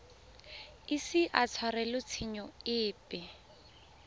ise a tshwarelwe tshenyo epe